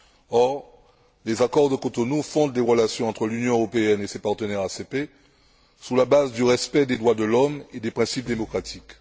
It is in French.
Or, les accords de Cotonou fondent les relations entre l'Union européenne et ses partenaires ACP sur la base du respect des droits de l'homme et des principes démocratiques.